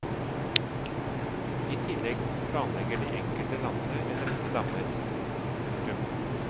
I tillegg planlegger de enkelte landene en rekke dammer. punktum